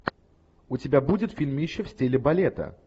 у тебя будет фильмище в стиле балета